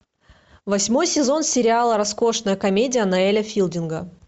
восьмой сезон сериала роскошная комедия ноэля филдинга